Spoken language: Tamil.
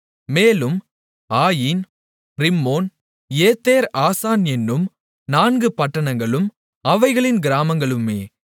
மேலும் ஆயீன் ரிம்மோன் ஏத்தேர் ஆசான் என்னும் நான்கு பட்டணங்களும் அவைகளின் கிராமங்களுமே